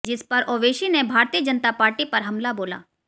जिसपर ओवैसी ने भारतीय जनता पार्टी पर हमला बोला